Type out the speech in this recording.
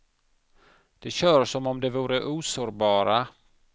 De kör som om de vore osårbara.